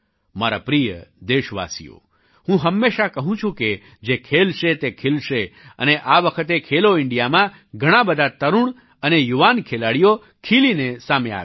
મારા પ્રિય દેશવાસીઓ હું હંમેશાં કહું છું કે જે ખેલશે તે ખિલશે અને આ વખતે ખેલો ઇન્ડિયામાં ઘણા બધા તરુણ અને યુવાન ખેલાડીઓ ખિલીને સામે આવ્યા છે